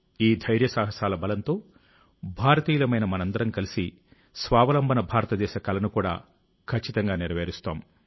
ఈ ధైర్యసాహసాల బలంతో భారతీయులమైన మనమందరం కలిసి స్వావలంబన భారతదేశ కలను కూడా ఖచ్చితంగా నెరవేరుస్తాం